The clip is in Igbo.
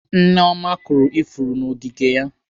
Nneoma kọrọ ifuru n'ogige ya.